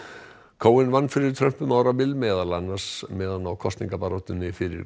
cohen vann fyrir Trump um árabil meðal annars meðan á kosningabaráttunni fyrir